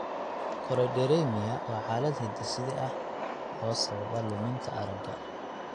Choroideremia waa xaalad hidde-side ah oo sababa luminta aragga.